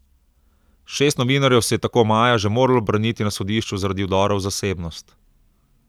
Šest novinarjev se je tako maja že moralo braniti na sodišču zaradi vdora v zasebnost.